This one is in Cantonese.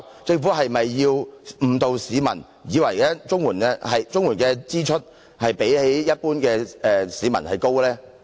政府是否要誤導市民，令他們以為綜援住戶的支出較一般市民高呢？